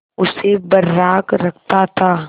उसे बर्राक रखता था